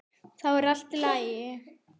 Þá er allt í lagi.